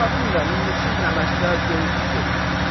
Ta bilmirəm indi siz nə məsləhət görürsüz, görün.